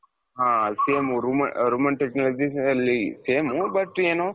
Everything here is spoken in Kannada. ಹ same Roman Technologies ಅಲ್ಲಿ same but ಏನು?